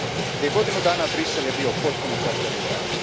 Prije godinu dana Bruxelles je bio potpuno zatvoren grad.